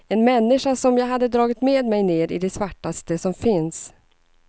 En människa som jag hade dragit med mig ner i det svartaste som finns.